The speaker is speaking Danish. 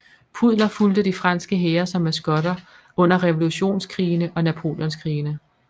Pudler fulgte de franske hære som maskotter under Revolutionskrigene og Napoleonskrigene